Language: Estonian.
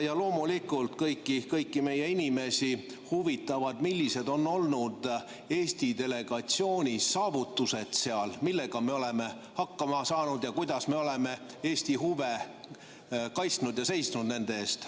Ja loomulikult kõiki meie inimesi huvitab, millised on olnud Eesti delegatsiooni saavutused seal, millega me oleme hakkama saanud ning kuidas me oleme Eesti huve kaitsnud ja seisnud nende eest.